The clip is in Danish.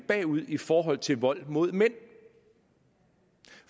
bagud i forhold til vold mod mænd